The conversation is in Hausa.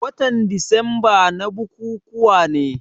Watan disamba na bukukuwa ne.